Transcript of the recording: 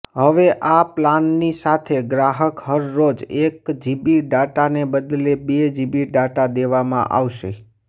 હવે આ પ્લાનની સાથે ગ્રાહક હરરોજ એક જીબી ડાટાને બદલે બે જીબી ડાટા દેવામાં આવશે